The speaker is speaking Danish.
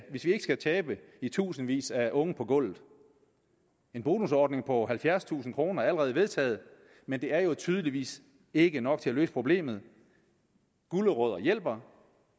tabe i tusindvis af unge på gulvet en bonusordning på halvfjerdstusind kroner er allerede vedtaget men det er jo tydeligvis ikke nok til at løse problemet gulerødder hjælper